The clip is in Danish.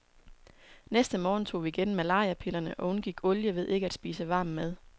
Næste morgen tog vi igen malariapillerne og undgik olie ved ikke at spise varm mad.